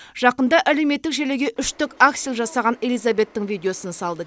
жақында әлеуметтік желіге үштік аксель жасаған элизабеттің видеосын салды